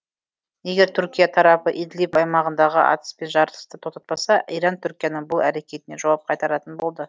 егер түркия тарапы идлиб аймағындағы атыс пен жарылысты тоқтатпаса иран түркияның бұл әрекетіне жауап қайтаратын болды